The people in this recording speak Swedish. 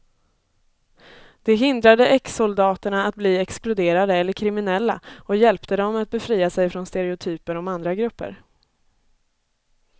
Det hindrade exsoldaterna att bli exkluderade eller kriminella och hjälpte dem att befria sig från stereotyper om andra grupper.